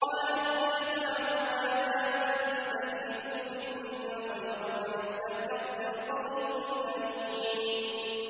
قَالَتْ إِحْدَاهُمَا يَا أَبَتِ اسْتَأْجِرْهُ ۖ إِنَّ خَيْرَ مَنِ اسْتَأْجَرْتَ الْقَوِيُّ الْأَمِينُ